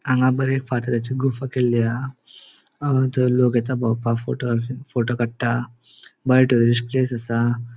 हांगा बरे फातराचे गुफा केल्ली हा थंय लोक येता भोवपाक फोटो स फोटो काडट्टा भायर टुरिस्ट प्लेस असा.